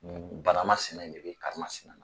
Nin banama sina in de be karimasina na.